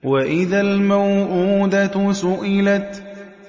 وَإِذَا الْمَوْءُودَةُ سُئِلَتْ